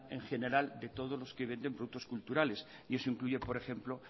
en general de todos los que venden productos culturales y eso incluye por ejemplo